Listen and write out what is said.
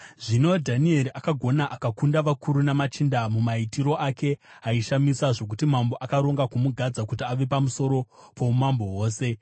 Zvino Dhanieri akagona akakunda vakuru namachinda mumaitiro ake aishamisa zvokuti mambo akaronga kumugadza kuti ave pamusoro poumambo hwose.